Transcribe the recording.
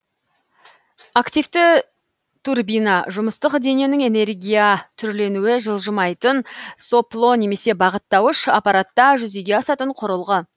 активті турбина жұмыстық дененің энергия түрленуі жылжымайтын сопло немесе бағыттауыш аппаратта жүзеге асатын құрылғы